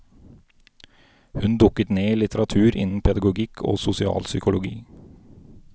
Hun dukket ned i litteratur innen pedagogikk og sosialpsykologi.